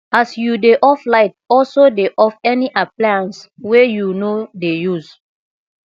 as you dey off light also dey off any appliance wey yu no dey use